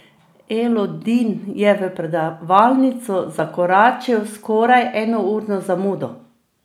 Elodin je v predavalnico zakoračil s skoraj enourno zamudo.